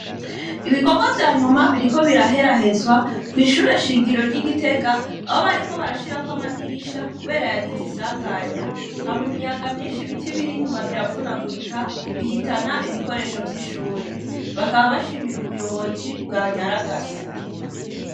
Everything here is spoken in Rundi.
Ibikorwa vya nyuma, biriko biraherahezwa, kw'ishure shingiro ry'i Gitega, aho bariko barashirako amadirisha kubera yagize isanganya, haba imiyaga myinshi ibiti biri inyuma biravunagurika, bihitana ibikoresho vy'ishure. Bakaba bashimira ubuyobozi, bwanyaragase.